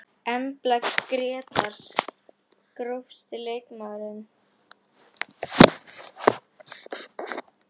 Embla Grétars Grófasti leikmaðurinn?